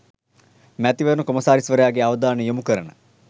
මැතිවරණ කොමසාරිස්වරයාගේ අවධානය යොමු කරන